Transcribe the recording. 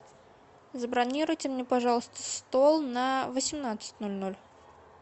забронируйте мне пожалуйста стол на восемнадцать ноль ноль